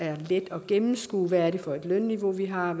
er let at gennemskue hvad det er for et lønniveau vi har